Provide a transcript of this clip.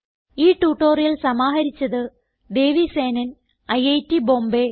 ഈ ട്യൂട്ടോറിയൽ സമാഹരിച്ചത് ദേവി സേനൻ ഐറ്റ് ബോംബേ